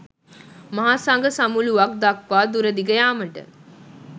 මහ සග සමුලූවක් දක්වා දුරදිග යාමට